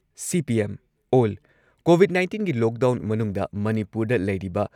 CPM ꯑꯣꯜ ꯀꯣꯚꯤꯗ ꯅꯥꯏꯟꯇꯤꯟꯒꯤ ꯂꯣꯛꯗꯥꯎꯟ ꯃꯅꯨꯡꯗ ꯃꯅꯤꯄꯨꯔꯗ ꯂꯩꯔꯤꯕ